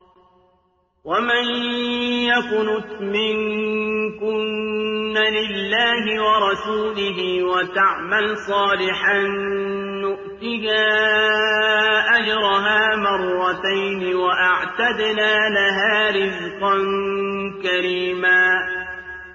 ۞ وَمَن يَقْنُتْ مِنكُنَّ لِلَّهِ وَرَسُولِهِ وَتَعْمَلْ صَالِحًا نُّؤْتِهَا أَجْرَهَا مَرَّتَيْنِ وَأَعْتَدْنَا لَهَا رِزْقًا كَرِيمًا